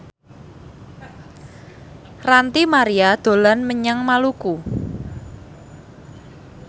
Ranty Maria dolan menyang Maluku